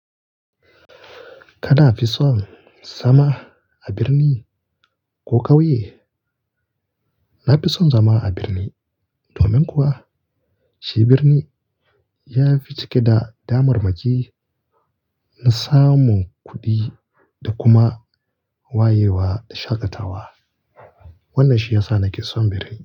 Kana fi son zama a birni ko ƙauye? Na fi son zama a birni domin kuwa shi birni ya fi cike da damar maki na samun kuɗi da kuma wayewa da shaƙatawa. Wannan shi ya sa na ƙi son birni.